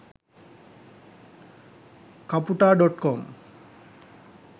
kaputa.com